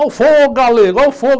Olha o fogo, Galego, olha o fogo.